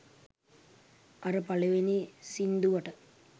අර පළවෙනි සින්දුවට